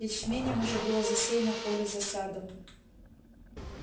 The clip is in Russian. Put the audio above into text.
ячменём уже было засеяно поле за садом